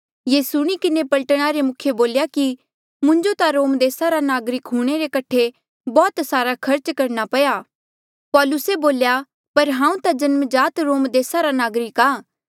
ये सुणी किन्हें पलटना रे मुखिये बोल्या कि मुंजो ता रोम देसा नागरिक हूंणे रे कठे बौह्त सारा खर्च करणा पया पौलुसे बोल्या पर हांऊँ ता जन्म जात रोम देसा रा नागरिक आ